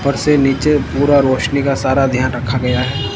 ऊपर से नीचे पूरा रोशनी का सारा ध्यान रखा गया है।